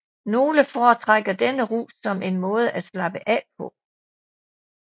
Nogle foretrækker denne rus som en måde at slappe af på